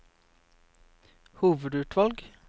hovedutvalg